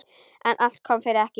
En allt kom fyrir ekki!